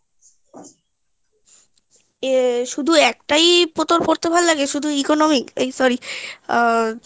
আহ শুধু একটাই তোর পড়তে ভালো লাগে শুধু economics sorry আহ